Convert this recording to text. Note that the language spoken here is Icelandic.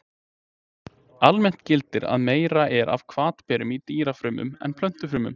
Almennt gildir að meira er af hvatberum í dýrafrumum en plöntufrumum.